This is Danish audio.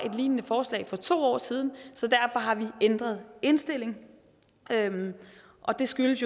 et lignende forslag for to år siden så derfor har vi ændret indstilling og det skyldes